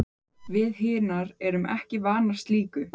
Við hinar erum ekki vanar slíku.